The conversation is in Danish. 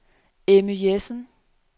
Emmy Jessen